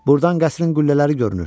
Burdan qəsrin qüllələri görünür.